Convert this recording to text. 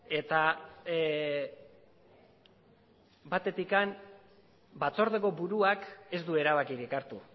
eta batetik batzordeko buruak ez du erabakirik hartu